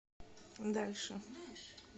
дальше